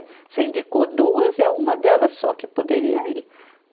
Você indicou duas, é uma delas só que poderia ir.